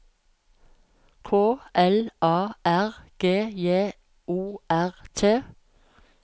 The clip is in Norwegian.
K L A R G J O R T